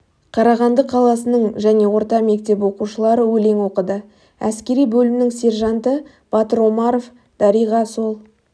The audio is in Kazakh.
қарағанды қаласының және орта мектеп оқушылары өлең оқыды әскери бөлімінің сержанты батыр омаров дариға сол